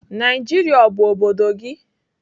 Naijiria ọ bụ obodo gị?